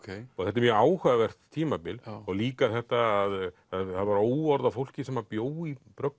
þetta er mjög áhugavert tímabil og líka þetta að það var óorð á fólki sem bjó í